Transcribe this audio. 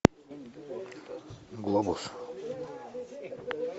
глобус